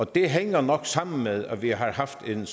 det hænger nok sammen med at vi har haft en